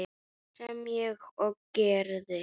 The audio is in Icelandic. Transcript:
Sem ég og gerði.